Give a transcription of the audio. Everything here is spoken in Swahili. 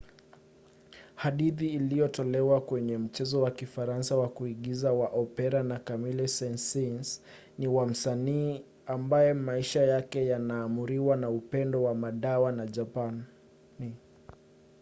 hadithi iliyotolewa kwenye mchezo wa kifaransa wa kuigiza wa opera na camille saint-saens ni wa msanii ambaye maisha yake yanaamuriwa na upendo wa madawa na japani